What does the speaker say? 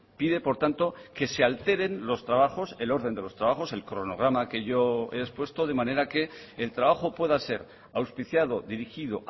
pide por tanto que se alteren los trabajos el orden de los trabajos el cronograma que yo he expuesto de manera que el trabajo pueda ser auspiciado dirigido